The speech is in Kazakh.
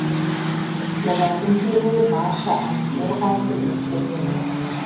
олардың келуі барша әнсүйер қауымды екіге бөлді